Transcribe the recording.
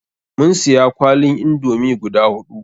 Mun siya kwalin indomi guda huɗu.